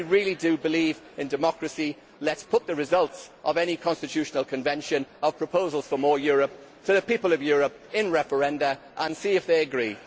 If we really do believe in democracy, let us put the results of any constitutional convention, of proposals for more Europe, to the people of Europe in referenda and see if they agree.